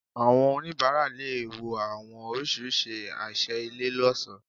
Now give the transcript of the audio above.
Àwọn onibara lè wò àwọn orisirisi àṣẹ ilé loṣo